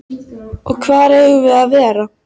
Og hvar eigum við að vera?